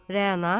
Rəana.